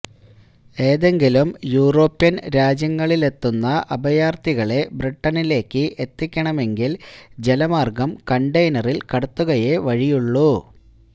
ഏതെങ്കിലും യൂറോപ്യൻ രാജ്യങ്ങളിലെത്തുന്ന അഭയാർഥികളെ ബ്രിട്ടനിലേക്ക് എത്തിക്കണമെങ്കിൽ ജലമാർഗം കണ്ടെയ്നറിൽ കടത്തുകയേ വഴിയുള്ളൂ